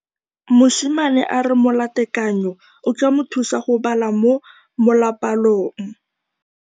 Mosimane a re molatekanyô o tla mo thusa go bala mo molapalong.